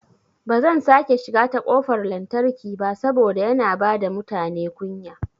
Bazan sake shiga ta kofar lantarki ba saboda yana bada mutane kunya